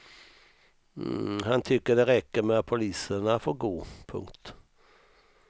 Han tycker det räcker med att poliserna får gå. punkt